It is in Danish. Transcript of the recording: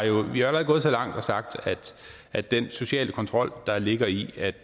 jo allerede gået så langt og sagt at den sociale kontrol der ligger i at